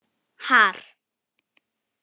Har